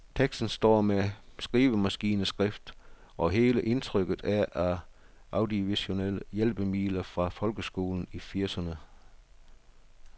Teksten står med skrivemaskineskrift, og hele indtrykket er af audiovisuelle hjælpemidler fra folkeskolen i firserne.